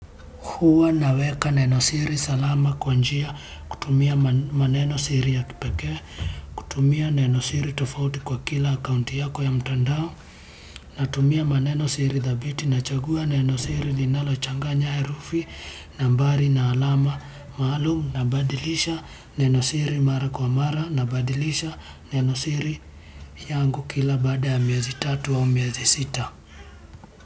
Huwa naweka neno siri salama kwa njia kutumia maneno siri ya kipekee, kutumia neno siri tofauti kwa kila akaunti yako ya mtandao, natumia maneno siri dhabiti nachagua neno siri linalochanganya herufi, nambari na alama, maalumu, nabadilisha neno siri mara kwa mara, nabadilisha neno siri yangu kila baada ya miezi tatu au miezi sita.